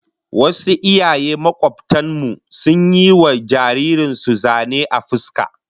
Wasu iyaye makobtan mu sun yi wa jaririn su zane a fuska